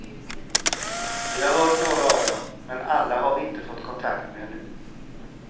Vi har hört några av dem, men alla har vi inte fått kontakt med ännu.